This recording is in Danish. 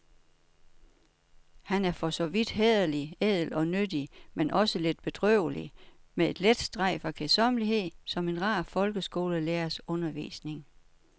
Han er for så vidt hæderlig, ædel og nyttig, men også lidt bedrøvelig, med et let strejf af kedsommelighed, som en rar folkeskolelærers undervisning.